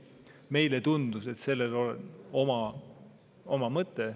Meile tundus, et sellel on oma mõte.